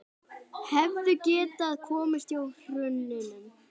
Hefðu getað komist hjá hruninu